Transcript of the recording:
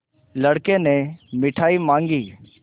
लड़के ने मिठाई मॉँगी